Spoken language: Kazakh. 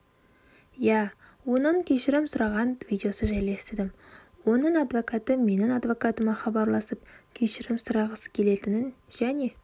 иә оның кешірім сұраған видеосы жайлы естідім оның адвокаты менің адвокатыма хабарласып кешірім сұрағысы келетінін және